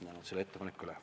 Ma annan selle ettepaneku üle.